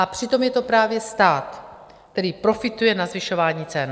A přitom je to právě stát, který profituje na zvyšování cen.